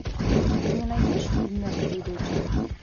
ты мне найдешь фильм мертвые дочери